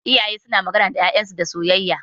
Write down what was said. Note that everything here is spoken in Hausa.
Iyaye suna magana da ƴaƴan su da soyayya.